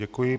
Děkuji.